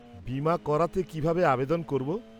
-বীমা করাতে কীভাবে আবেদন করব?